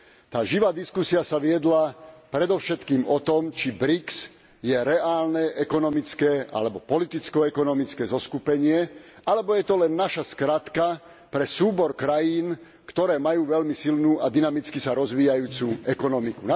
Tá živá diskusia sa viedla predovšetkým o tom, či BRIC je reálne ekonomické alebo politicko ekonomické zoskupenie, alebo je to len naša skratka pre súbor krajín, ktoré majú veľmi silnú a dynamicky sa rozvíjajúcu ekonomiku.